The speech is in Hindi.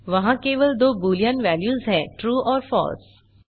वहाँ केवल दो बूलियन वेल्यूज हैं ट्रू और फलसे